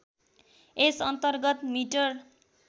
यस अन्तर्गत मिटर